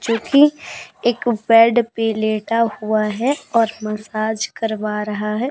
जो कि एक बेड पे लेटा हुआ है और मसाज करवा रहा है।